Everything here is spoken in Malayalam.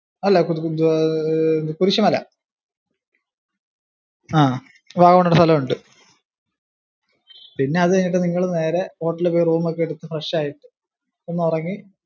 അല്ല കുരിശ് മല. അവിടെ അങ്ങനൊരു സ്ഥലമുണ്ട്. പിന്നെ അത് കഴിഞ്ഞിട്ട് നിങ്ങള് നേരെ hotel ഇൽ പോയി room ഒക്കെ എടുത്തിട്ട് fresh ആയിട്ട് ഒന്നുറങ്ങി.